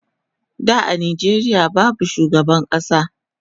Da a Nijeria babu shugaban kasa